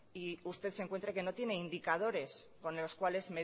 y usted se encuentre que no tiene indicadores con los cuales